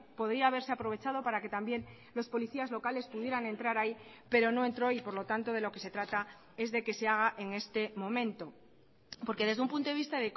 podría haberse aprovechado para que también los policías locales pudieran entrar ahí pero no entró y por lo tanto de lo que se trata es de que se haga en este momento porque desde un punto de vista